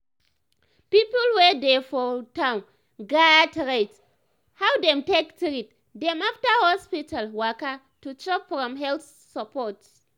people wey dey for town gats rate how dem take treat dem after hospital waka to chop from health support.